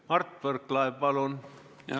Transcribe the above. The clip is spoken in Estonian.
Mart Võrklaev, palun!